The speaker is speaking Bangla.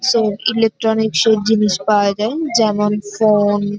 সো ইলেক্ট্রনিক সব জিনিস পাওয়া যায় যেমন ফোন ।